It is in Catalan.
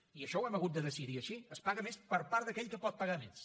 i això ho hem hagut de decidir així es paga més per part d’aquell que pot pagar més